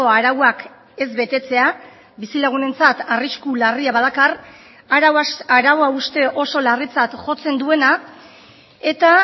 arauak ez betetzea bizilagunentzat arrisku larria badakar arau hauste oso larritzat jotzen duena eta